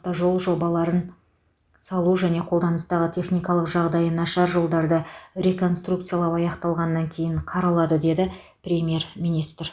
автожол жобаларын салу және қолданыстағы техникалық жағдайы нашар жолдарды реконструкциялау аяқталғаннан кейін қаралады деді премьер министр